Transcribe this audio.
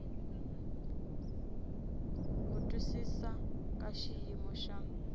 ku twisisa ka xiyimo xa